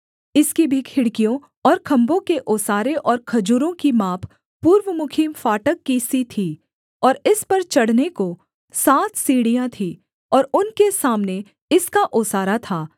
इसकी भी खिड़कियों और खम्भों के ओसारे और खजूरों की माप पूर्वमुखी फाटक की सी थी और इस पर चढ़ने को सात सीढ़ियाँ थीं और उनके सामने इसका ओसारा था